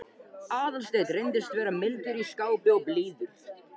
Aðalsteinn reyndist vera mildur í skapi og blíður.